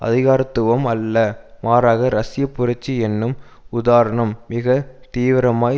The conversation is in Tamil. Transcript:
அதிகாரத்துவம் அல்ல மாறாக ரஷ்ய புரட்சி என்னும் உதாரணம் மிக தீவிரமாய்